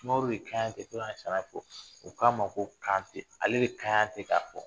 Sumaworo u k'a ma ko Kante ale